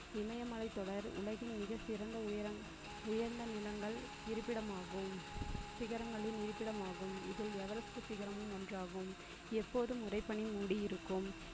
இமயமலையின் தொடர் உலகின் மிக சிறந்த உயரம் உயர்ந்த நிலங்கள் இருப்பிடமாகும் சிகரங்களின் இருப்பிடமாகும் இதில் everest சிகரமும் ஒன்றாகும் எப்போதும் உரை பணி மூடியிருக்கும்.